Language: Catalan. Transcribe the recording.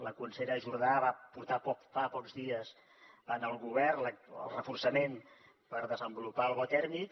la consellera jordà va portar fa pocs dies al govern el reforçament per desenvolupar el bo tèrmic